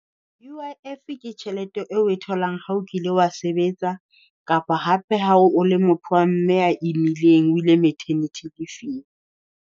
U_I_F ke tjhelete eo e tholang ha o kile wa sebetsa, kapa hape ha o le motho wa mme a imileng o ile maternity leave-ing.